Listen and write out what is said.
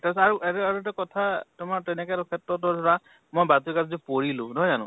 তাৰপিছত আৰু আৰু এটা কথা, তোমাৰ তেনে কোনো ক্ষেত্ৰতো ধৰা মই পঢ়িলো, নহয় জানো ?